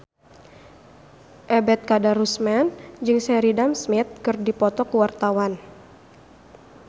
Ebet Kadarusman jeung Sheridan Smith keur dipoto ku wartawan